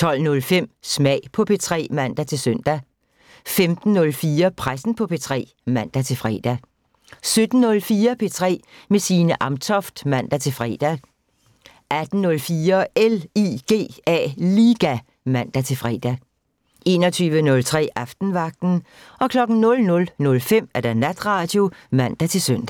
12:05: Smag på P3 (man-søn) 15:04: Pressen på P3 (man-fre) 17:04: P3 med Signe Amtoft (man-fre) 18:04: LIGA (man-fre) 21:03: Aftenvagten 00:05: Natradio (man-søn)